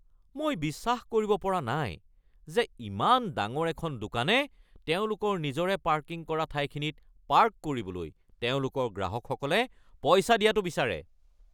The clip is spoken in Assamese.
মই বিশ্বাস কৰিব পৰা নাই যে ইমান ডাঙৰ এখন দোকানে তেওঁলোকৰ নিজৰে পাৰ্কিং কৰা ঠাইখিনিত পাৰ্ক কৰিবলৈ তেওঁলোকৰ গ্ৰাহকসকলে পইচা দিয়াটো বিচাৰে।